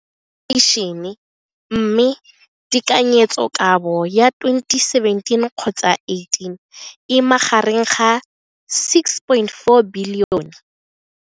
Infleišene, mme tekanyetsokabo ya 2017, 18, e magareng ga R6.4 bilione.